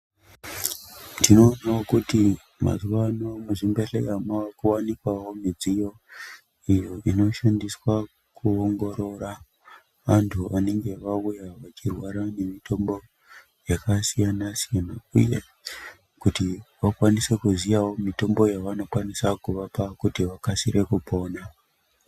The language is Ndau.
Tinoonawo kuti mazuwano muzvibhedhlera mavakuwanikwawo midziyo iyo inoshandiswa kuongorora vantu vanenge vauya vachirwara ngemitombo yakasiyana siyana uye kuti vakwanisewo kuziya mitombo yavanokwanisa kuvapa kuti vakwanise kupona.